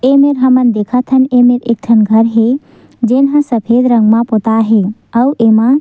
ये मेर हमन देखत हन एमे एक ठन घर हे जोन ह सफेद रंग म पोताय हे आऊ एमा--